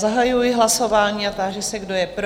Zahajuji hlasování a ptám se, kdo je pro.